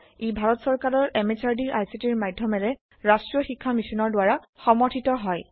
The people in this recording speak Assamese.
ই ভাৰত সৰকাৰৰ MHRDৰ ICTৰ মাধ্যমেৰে ৰাষ্ট্ৰীয় শীক্ষা Missionৰ দ্ৱাৰা সমৰ্থিত হয়